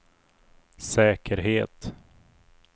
säkerhet